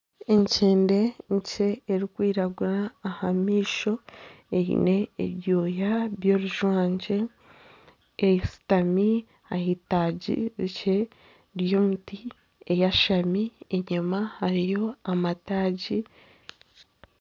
Enkyende nkye erikwiragura aha maisho eine ebyoya by'orujwangye eshutami ah'itaagi rikye ry'omuti eyashami. Enyima hariyo amataagi.